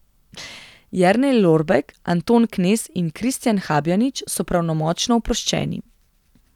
Jernej Lorbek, Anton Knez in Kristijan Habjanič so pravnomočno oproščeni.